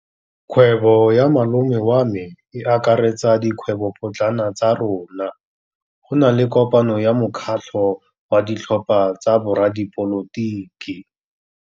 Kgwêbô ya malome wa me e akaretsa dikgwêbôpotlana tsa rona. Go na le kopanô ya mokgatlhô wa ditlhopha tsa boradipolotiki.